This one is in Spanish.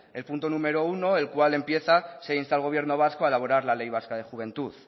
el punto número uno el cual empieza se insta al gobierno vasco a elaborar la ley vasca de juventud